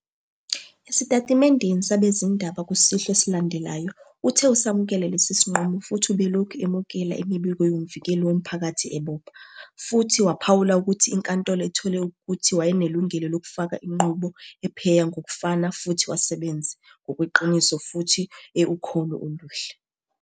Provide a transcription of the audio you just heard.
Esitatimendeni sabezindaba kusihlwa esilandelayo, uthe usamukele lesi sinqumo futhi ubelokhu emukela imibiko yoMvikeli woMphakathi ebopha, futhi waphawula ukuthi iNkantolo ithole ukuthi wayenelungelo lokufaka inqubo ephenya ngokufana futhi wasebenze "ngokweqiniso" futhi "e- ukholo oluhle ".